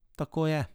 Tako je.